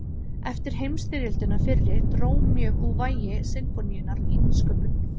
Eftir heimsstyrjöldina fyrri dró mjög úr vægi sinfóníunnar í nýsköpun.